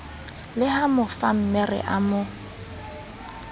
le ha mofammere a mo